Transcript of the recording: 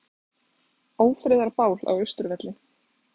Ófriðarbál á Austurvelli